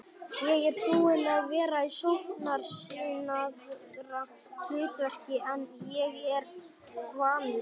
Ég er búinn að vera í sóknarsinnaðra hlutverki en ég er vanur.